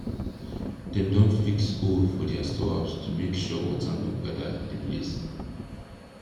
dem don fix hole for their store house to make sure water no gather the place